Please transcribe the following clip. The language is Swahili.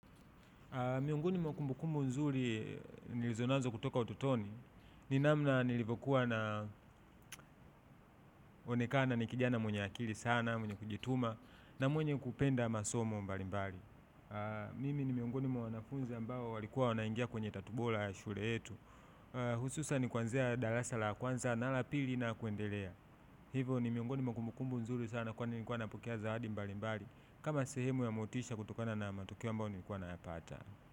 Miongoni mwa kumbukumbu nzuri nilizo nazo kutoka utotoni. Ni namna nilivokuwa naonekana ni kijana mwenye akili sana, mwenye kujituma, na mwenye kupenda masomo mbali mbali. Mimi ni miongoni mwa wanafunzi ambao walikuwa wanaingia kwenye tatu bora ya shule yetu. Hususan kuanzia darasa la kwanza na la pili na kuendelea. Hivo ni miongoni mwa kumbukumbu nzuri sana kwani nilikuwa napokea zawadi mbali mbali. Kama sehemu ya motisha kutokana na matokeo ambayo nilikuwa nayapata.